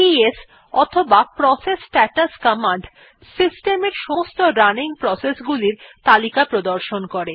PS অথবা process status command system এর সমস্ত রানিং প্রসেস গুলির তালিকা প্রদর্শন করে